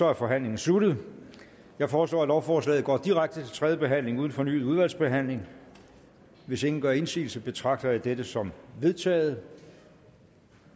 er forhandlingen sluttet jeg foreslår at lovforslaget går direkte til tredje behandling uden fornyet udvalgsbehandling hvis ingen gør indsigelse betragter jeg dette som vedtaget